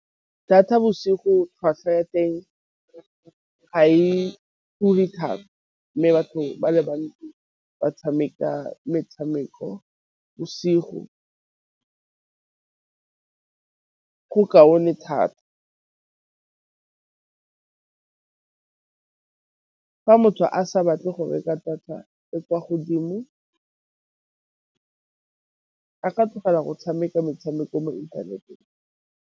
data bosigo tlhwatlhwa ya teng ga e ture thata, mme batho ba le bantsi ba tshameka metshameko bosigo go kaone thata , fa motho a sa batle go reka data e kwa godimo a tlogela go tshameka metshameko mo inthaneteng.